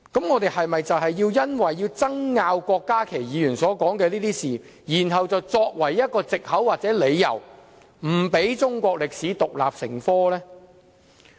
我們應否以郭家麒議員所說事情的爭拗為藉口或理由，不讓中史獨立成科呢？